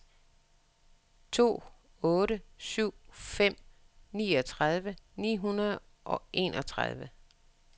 to otte syv fem niogtredive ni hundrede og enogtredive